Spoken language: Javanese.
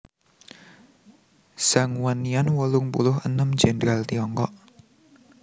Zhang Wannian wolung puluh enem Jèndral Tiongkok